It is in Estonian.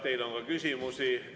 Teile on ka küsimusi.